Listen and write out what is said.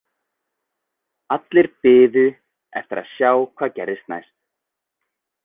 Allir biðu eftir að sjá hvað gerðist næst.